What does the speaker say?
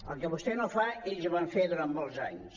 el que vostè no fa ells ho van fer durant molts anys